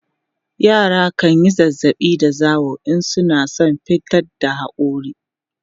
yara kanyi zazzaɓi da zawo in suna San fitar da hakori